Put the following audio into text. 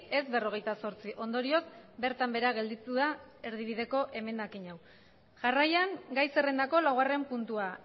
ez berrogeita zortzi ondorioz bertan behera gelditu da erdibideko emendakin hau jarraian gai zerrendako laugarren puntua